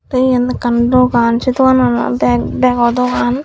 te yan ekkan dogan se doganan olode bago dogan.